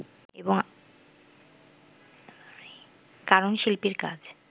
কারণ শিল্পীর কাজ